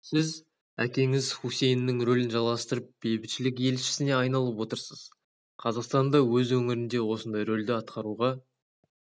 сіз әкеңіз хусейннің рөлін жалғастырып бейбітшілік елшісіне айналып отырсыз қазақстан да өз өңірінде осындай рөлді атқаруға